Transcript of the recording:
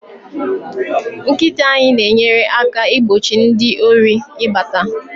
nkita anyi na enyere aka igbochi ndi Ori ibata